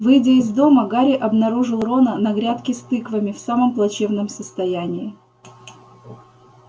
выйдя из дома гарри обнаружил рона на грядке с тыквами в самом плачевном состоянии